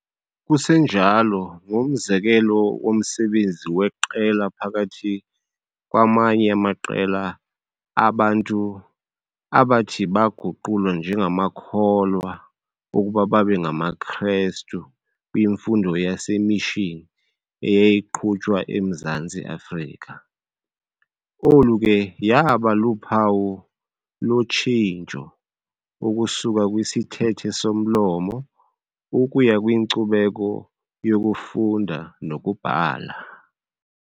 Kusenjalo ngumzekelo womsebenzi weqela phakathi kwamanye amaqela abantu abathi baguqulwa njengamakholwa ukuba babengamaKrestu kwimfundo yasemishini eyayiqhutywa eMzantsi Afrika. Olu ke yaaba luphawu lotshintsho ukusuka kwisithethe somlomo ukuya kwinkcubeko yokufunda nokubhala.